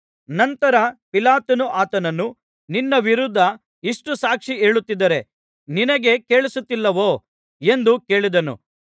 ನಂತರ ಪಿಲಾತನು ಆತನನ್ನು ನಿನ್ನ ವಿರುದ್ಧ ಇಷ್ಟು ಸಾಕ್ಷಿ ಹೇಳುತ್ತಿದ್ದಾರೆ ನಿನಗೆ ಕೇಳಿಸುತ್ತಿಲ್ಲವೋ ಎಂದು ಕೇಳಿದನು